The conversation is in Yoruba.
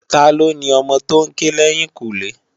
Tá ló ni òmò tó n ké lèyinkúnlé?